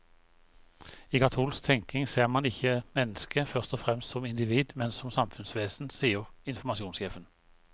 I katolsk tenkning ser man ikke mennesket først og fremst som individ, men som samfunnsvesen, sier informasjonssjefen.